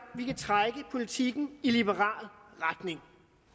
vi kan trække politikken i liberal retning